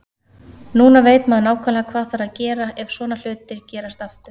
Núna veit maður nákvæmlega hvað þarf að gera ef svona hlutir gerast aftur.